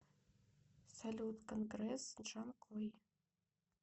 салют конгресс джанкой